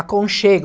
Aconchego.